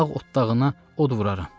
ağ otdağına od vuraram.